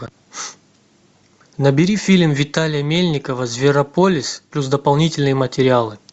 набери фильм виталия мельникова зверополис плюс дополнительные материалы